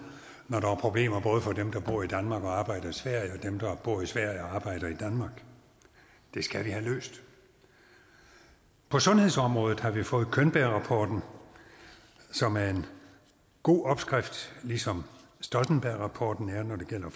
når der er problemer både for dem der bor i danmark og arbejder i sverige og dem der bor i sverige og arbejder i danmark det skal vi have løst på sundhedsområdet har vi fået könbergrapporten som er en god opskrift ligesom stoltenbergrapporten er når det gælder